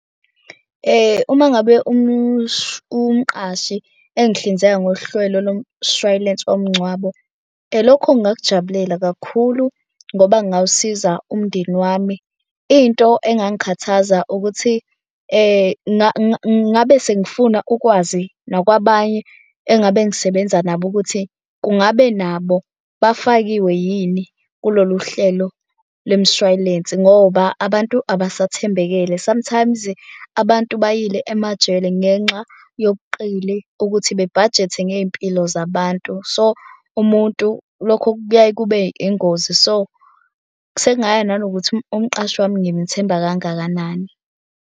Uma ngabe umqashi engihlinzeka ngohlwelo lomshwalense womngcwabo lokho ngingakujabulela kakhulu ngoba kungawusiza umndeni wami. Into engangikhathaza ukuthi ngabe sengifuna ukwazi nakwabanye engabe ngisebenza nabo ukuthi kungabe nabo bafakiwe yini kulolu hlelo lemshwalensi ngoba abantu abasathembekele. Sometimes abantu bayile emajele ngenxa yobuqili ukuthi bebhajethe ngey'mpilo zabantu. So umuntu lokho kuyaye kube ingozi, so sekungaya nanokuthi umqashi wami ngimthemba kangakanani.